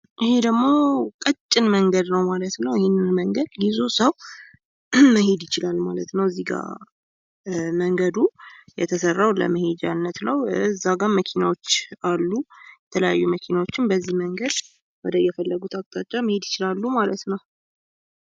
ይህ ደግሞ ቀጭን መንገድ ነው ማለት ነው። ይሄንን መንገድ ሰው ይዞ መሄድ ይችላል ማለት ነው። እዚህ ጋ መንገዱ የተሰራው ለመሄጃነት ነው ማለት ነው። እዛጋም መኪናዎች አሉ። የተለያዩ መኪናዎችም ወደ ተለያየ አቅጣጫ መሄድ ይችላሉ ማለት ነው።